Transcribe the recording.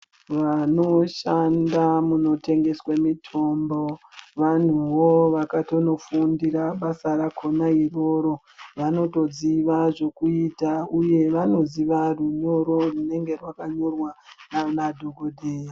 Vanoshanda munotengeswa mitombo vanhuwo wakatonofundira basa rakona iroro vanotoziwa zvekuita uye vanoziwa runyoro runenge rwakanyorwa nana dhogodheya.